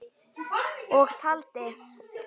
Og taldi